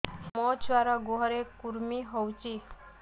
ମୋ ଛୁଆର୍ ଗୁହରେ କୁର୍ମି ହଉଚି